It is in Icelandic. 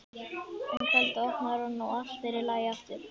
Um kvöldið opnar hún og allt er í lagi aftur.